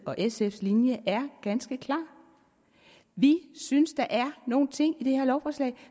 og sfs linje er ganske klar vi synes at der er nogle ting i det her lovforslag